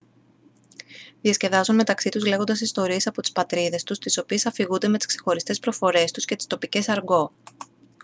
διασκεδάζουν μεταξύ τους λέγοντας ιστορίες από τις πατρίδες τους τις οποίες αφηγούνται με τις ξεχωριστές προφορές τους και τις τοπικές αργκό